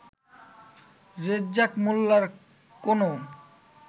রেজ্জাক মোল্লার কোনও